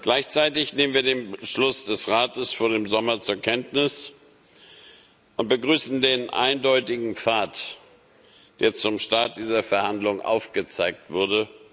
Gleichzeitig nehmen wir den Beschluss des Rates von vor dem Sommer zur Kenntnis und begrüßen den eindeutigen Pfad, der zum Start dieser Verhandlungen aufgezeigt wurde.